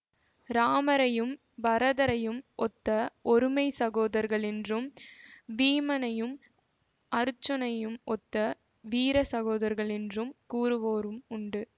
இராமரையும் பரதரையும் ஒத்த ஒருமைச் சகோதரர்கள் என்றும் வீமனையும் அருச்சுனனையும் ஒத்த வீர சகோதரர்கள் என்று கூறுவோரும் உண்டு